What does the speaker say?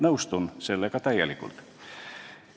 Nõustun sellega täielikult.